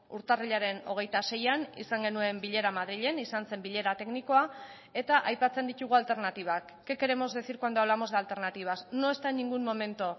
urtarrilaren hogeita seian izan genuen bilera madrilen izan zen bilera teknikoa eta aipatzen ditugu alternatibak qué queremos decir cuando hablamos de alternativas no está en ningún momento